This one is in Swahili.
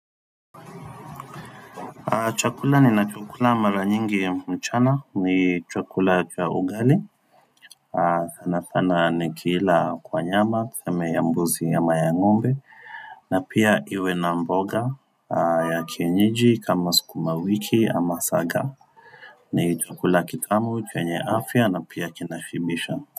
Chakula ninachokula mara nyingi mchana ni chakula kwa ugali sana sana ni kila kwa nyama tuseme ya mbuzi ya ama ya ng'ombe na pia iwe na mboga ya kienyeji kama sukuma wiki ama saga ni chakula kitamu chenye afya na pia kinashibisha.